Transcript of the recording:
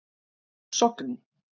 Sogni